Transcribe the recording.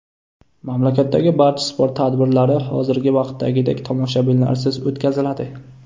Mamlakatdagi barcha sport tadbirlari hozirgi vaqtdagidek tomoshabinlarsiz o‘tkaziladi.